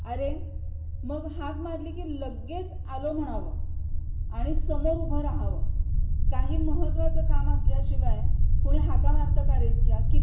अरे मग हाक मारली की लगेच आलो म्हणावं आणि समोर उभ राहावं. काही महत्वाचं काम असल्याशिवाय कोणी हाका मारतं का रे इतक्या?